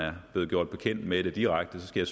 er blevet gjort bekendt med det direkte skal